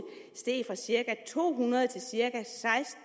fra cirka to hundrede til cirka